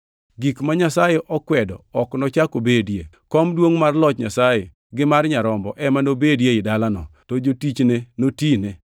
Gik ma Nyasaye okwedo ok nochak obedie. Kom duongʼ mar loch Nyasaye gi mar Nyarombo ema nobedie ei dalano, to jotichne notine.